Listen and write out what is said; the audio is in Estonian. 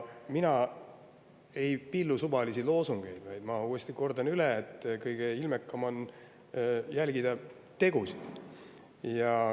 Mina ei pillu suvalisi loosungeid, vaid ma kordan uuesti üle, et kõige ilmekam on jälgida tegusid.